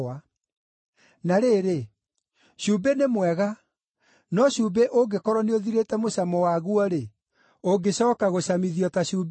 “Na rĩrĩ, cumbĩ nĩ mwega, no cumbĩ ũngĩkorwo nĩũthirĩte mũcamo waguo-rĩ, ũngĩcooka gũcamithio ta cumbĩ na kĩ?